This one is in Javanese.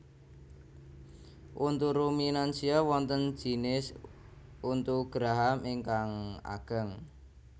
Untu ruminansia wonten jinis untu geraham ingkang ageng